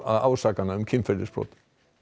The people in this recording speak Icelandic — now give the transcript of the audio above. ásakana um kynferðisbrot